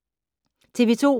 TV 2